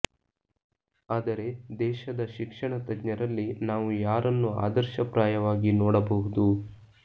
ಆದರೆ ದೇಶದ ಶಿಕ್ಷಣ ತಜ್ಞರಲ್ಲಿ ನಾವು ಯಾರನ್ನು ಆದರ್ಶಪ್ರಾಯವಾಗಿ ನೋಡ ಬಹುದು